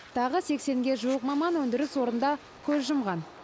тағы сексенге жуық маман өндіріс орнында көз жұмған